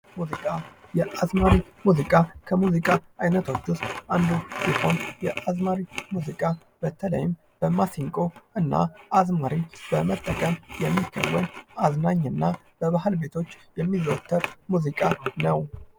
የአዝማሪ ሙዚቃ ሙዚቃ አይነት አንዱ ሲሆን የአዝማሪ ሙዚቃ በተለይም በማሲንቆ እና አዝማሪን በመጠቀም የሚደረግ አዝናኝ እና በባህል ምሽት ቤቶች የሚዘወትር ሙዚቃ ነው።